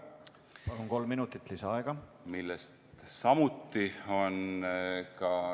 Palun, kolm minutit lisaaega!